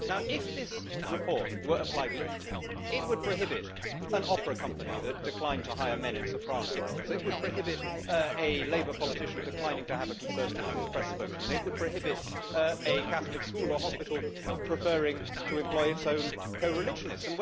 If this report were applied literally, it would prohibit an opera company from declining to hire men in soprano roles, it would prohibit a Labour politician from declining to have a Conservative as their press spokesman, and it would prohibit a Catholic school or hospital from preferring to employ its own co religionists.